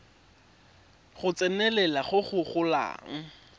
go tsenelela go go golang